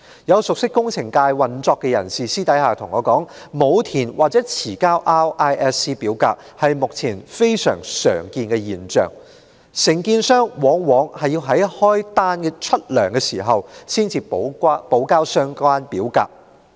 有熟悉工程界運作的人士私下告訴我，沒有填寫或遲交 RISC 表格的現象如今非常普遍，承建商往往在支取工程費用時才補交相關表格。